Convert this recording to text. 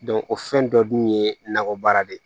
o fɛn dɔ dun ye nakɔ baara de ye